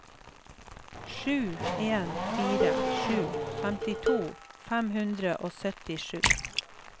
sju en fire sju femtito fem hundre og syttisju